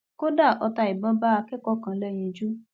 kódà ọta ìbọn bá akẹkọọ kan lẹyinjú